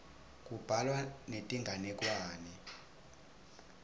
kubhalwa netinganekwane